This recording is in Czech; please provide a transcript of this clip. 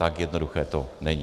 Tak jednoduché to není.